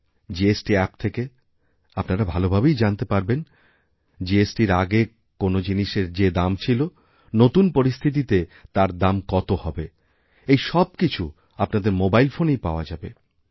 GST app থেকে আপনারাভালোভাবেই জানতে পারবেন জিএসটি এর আগে কোনও জিনিসের যেদাম ছিল নতুন পরিস্থিতিতে তার দাম কত হবে এই সবকিছু আপনাদের মোবাইল ফোনেই পাওয়াযাবে